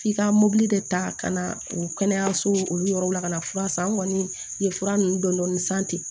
F'i ka mobili de ta ka na o kɛnɛyasow yɔrɔw la ka na fura san an kɔni ye fura ninnu dɔɔnin san ten